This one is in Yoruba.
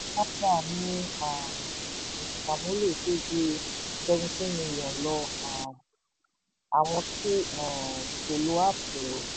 paga ní um ònṣàmúlò tó ju seventeen million lọ um àwọn tí um kò lo app